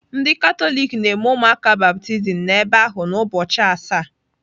Ndị Katọlik na-eme ụmụaka baptizim n'ebe ahụ na ụbọchị asaa..